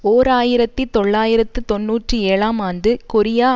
ஓர் ஆயிரத்தி தொள்ளாயிரத்து தொன்னூற்றி ஏழாம் ஆண்டு கொரியா